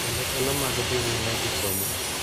Kendo thuolo mag dhi nyime gi somo .